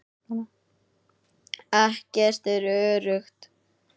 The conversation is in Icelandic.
Ekkert er öruggt.